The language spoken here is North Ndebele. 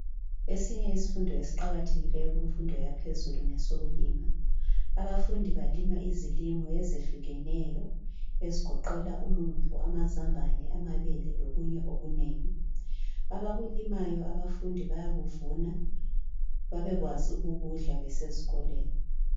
esinye isifundo esiqakathekileyo kumfundo yaphezulu ngesokulima abafundi balima izilimo ezehlukeneyo ezigoqela umumbu amazambane amabele lokunye okunengi abakulimayo abafundi bayakuvuna babekwazi ukukudla besizikolweni